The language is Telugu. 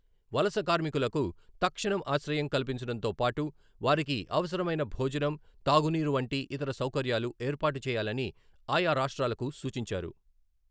వలస కార్మికులకు తక్షణం ఆశ్రయం కల్పించడంతో పాటు, వారికి అవసరమైన భోజనం, తాగునీరు వంటి ఇతర సౌకర్యాలు ఏర్పాటు చేయాలని ఆయా రాష్ట్రాలకు సూచించారు.